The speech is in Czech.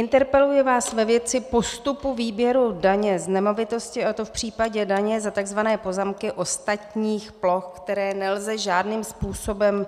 Interpeluji vás ve věci postupu výběru daně z nemovitosti, a to v případě daně za tzv. pozemky ostatních ploch, které nelze žádným způsobem